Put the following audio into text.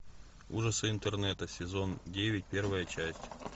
ужасы интернета сезон девять первая часть